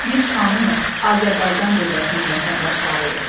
Biz hamımız Azərbaycan dövlətinin vətəndaşlarıyıq.